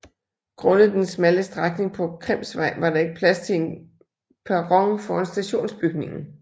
Grundet den smalle strækning på Krimsvej var der ikke plads til en perron foran stationsbygningen